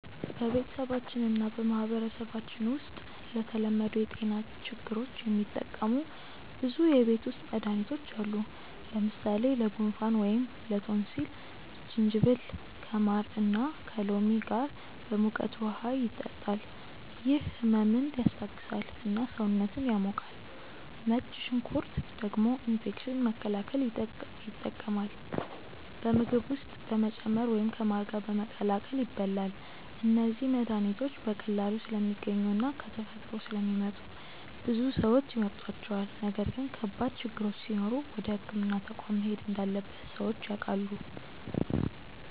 በቤተሰባችን እና በማህበረሰባችን ውስጥ ለተለመዱ የጤና ችግሮች የሚጠቀሙ ብዙ የቤት ውስጥ መድሃኒቶች አሉ። ለምሳሌ ለጉንፋን ወይም ላቶንሲል ጅንጅብል ከማር እና ከሎሚ ጋር በሙቀት ውሃ ይጠጣል፤ ይህ ህመምን ያስታግሳል እና ሰውነትን ያሞቃል። ነጭ ሽንኩርት ደግሞ ኢንፌክሽን መከላከል ይጠቀማል፣ በምግብ ውስጥ በመጨመር ወይም ከማር ጋር በመቀላቀል ይበላል። እነዚህ መድሃኒቶች በቀላሉ ስለሚገኙ እና ከተፈጥሮ ስለሚመጡ ብዙ ሰዎች ይመርጧቸዋል። ነገር ግን ከባድ ችግሮች ሲኖሩ ወደ ሕክምና ተቋም መሄድ እንዳለበት ሰዎች ያውቃሉ።